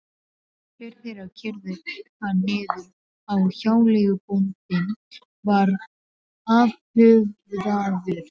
Tveir þeirra keyrðu hann niður og hjáleigubóndinn var afhöfðaður.